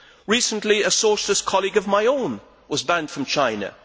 Recently a Socialist colleague of my own was banned from China.